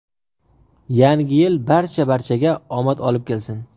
Yangi yil barcha barchaga omad olib kelsin.